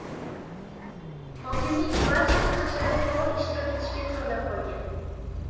Hokimlik barchani hasharda faol ishtirok etishga chorlab qolgan.